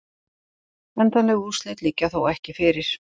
Endanleg úrslit liggja þó ekki fyrir